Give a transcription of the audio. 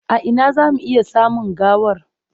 A ina za mu iya samun gawar?